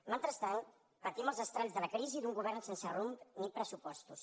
mentrestant patim els estralls de la crisi d’un govern sense rumb ni pressupostos